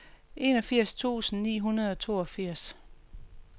enogfirs tusind ni hundrede og toogfirs